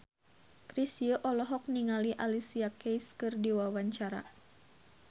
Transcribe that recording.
Chrisye olohok ningali Alicia Keys keur diwawancara